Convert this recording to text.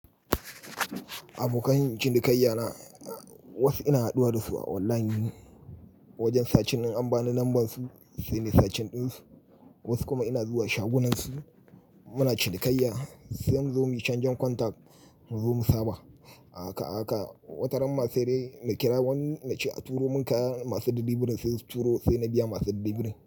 Abokan cinikayya na wasu ina haduwa da su a online ne wajen sacin in an bani namban su sai nayi searching ɗinsu. Wasu kuma ina zuwa shagunan su muna cinikayya sai in zo muyi canjen contact mu zo mu saba. A haka a haka wataran ba saidai na kira wani na ce a turo mun kaya masu ɗilibirin birin sai su turo sai na biya masu ɗibiɗi birin.